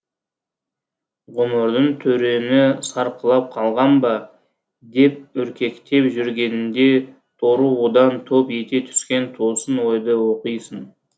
ғұмырдың түрені сарқылып қалған ба деп үркектеп жүргеніңде торығудан топ ете түскен тосын ойды оқисың